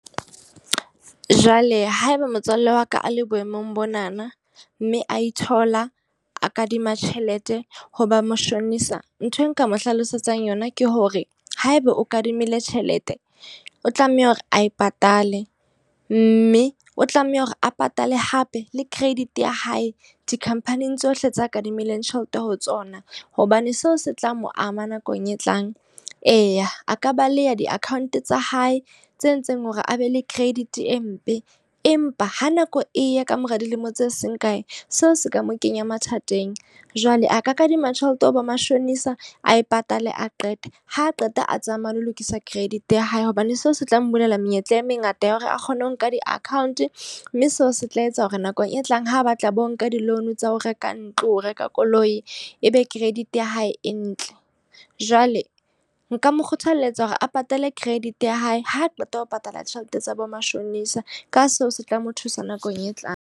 Jwale haeba motswalle wa ka a le boemong bonana, mme a ithola a kadima tjhelete hoba mashonesa. Nthwe nka mo hlalosetsang yona ke hore haebe o kadimile tjhelete, o tlameha hore a patale. Mme o tlameha hore a patale hape le credit ya hae di-company-ng tsohle tseo a kadimileng tjhelete ho tsona. Hobane seo se tla mo ama nakong e tlang. Eya, a ka baleha di-account tsa hae tse entseng hore a be le credit e mpe. Empa ha nako e ya kamora dilemo tse seng kae, seo se ka mo kenya mathateng. Jwale a ka kadima tjhelete ho bo mashonesa, a e patale a qete. Ha qeta a tsamaya le ho lokisa credit ya hae, hobane seo se tla mmolella menyetla e mengata ya hore a kgone ho nka di-account mme seo se tla etsa hore nakong e tlang ha batla bo nka di-loan tsa ho reka ntlo, ho reka koloi, e be credit ya hae e ntle. Jwale nka mo kgothaletsa hore a patale credit ya hae. Ha qeta ho patala tjhelete tsa bo mashonesa. Ka seo se tla mo thusa nakong e tlang.